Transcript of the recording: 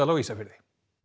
á Ísafirði